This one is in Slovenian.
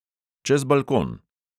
Čez balkon!